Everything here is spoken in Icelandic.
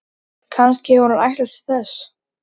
Kannski hefur hún ætlast til þess.